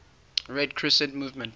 red crescent movement